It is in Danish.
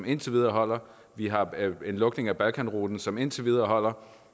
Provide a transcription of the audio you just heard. indtil videre vi har en lukning af balkanruten som holder indtil videre